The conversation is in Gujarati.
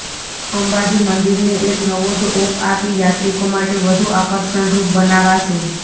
અંબાજી મંદિરને એક નવો જ ઓપ આપી યાત્રિકો માટે વધુ આકર્ષણરૂપ બનાવાશે